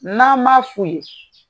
N'an ma soli